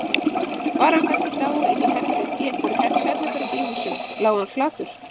Var hann kannski í dái inni í einhverju svefnherbergi í húsinu, lá hann flatur.